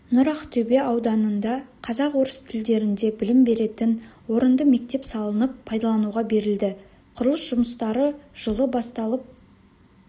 нұр ақтөбе ауданында қазақ-орыс тілдерінде білім беретін орынды мектеп салынып пайдалануға берілді құрылыс жұмыстары жылы басталып